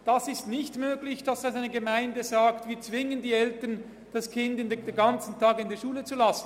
Es ist nicht möglich, dass eine Gemeinde die Eltern zwingt, das Kind den ganzen Tag in der Schule zu lassen.